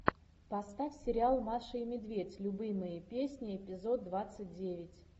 поставь сериал маша и медведь любимые песни эпизод двадцать девять